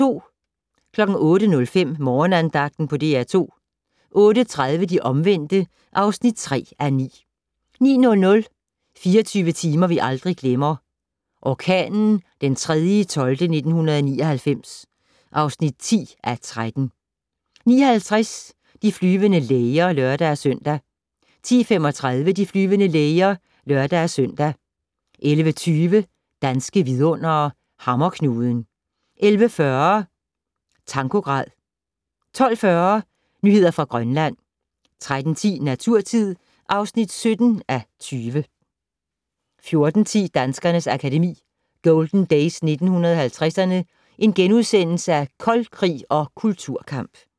08:05: Morgenandagten på DR2 08:30: De omvendte (3:9) 09:00: 24 timer vi aldrig glemmer - Orkanen 3.12.1999 (10:13) 09:50: De flyvende læger (lør-søn) 10:35: De flyvende læger (lør-søn) 11:20: Danske vidundere: Hammerknuden 11:40: Tankograd 12:40: Nyheder fra Grønland 13:10: Naturtid (17:20) 14:10: Danskernes Akademi: Golden Days 1950'erne - Koldkrig og Kulturkamp *